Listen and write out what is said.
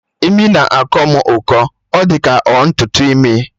Imi na-akọ mụ ụkọ, ọ dị ka ọ ntutu imi